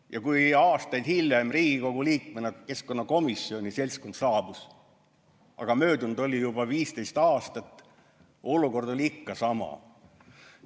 Ja kui aastaid hiljem Riigikogu keskkonnakomisjoni seltskond sinna saabus – aga möödunud oli juba 15 aastat –, oli olukord oli ikka sama.